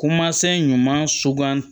Ko masinɛ ɲuman sugan